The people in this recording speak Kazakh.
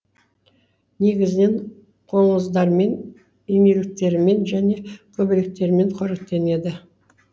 негізінен қоңыздармен инеліктермен және көбелектермен қоректенеді